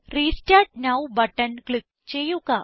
restart now button click ചെയ്യുക